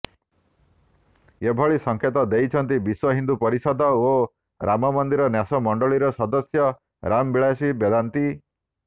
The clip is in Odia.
ଏଭଳି ସଂକେତ ଦେଇଛନ୍ତି ବିଶ୍ୱ ହିନ୍ଦୁ ପରିଷଦ ଓ ରାମମନ୍ଦିର ନ୍ୟାସ ମଣ୍ଡଳିର ସଦସ୍ୟ ରାମବିଳାସି ବେଦାନ୍ତି